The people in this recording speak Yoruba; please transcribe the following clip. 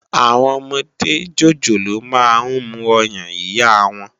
Awòn òmòdé jójólóò mà n mú òyán iyá wán